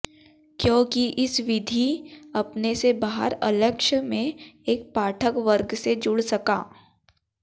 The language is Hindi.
क्यों कि इस विधि अपने से बाहर अलक्ष्य में एक पाठक वर्ग से जुड सका